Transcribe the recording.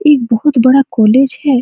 एक बहुत बड़ा कॉलेज है।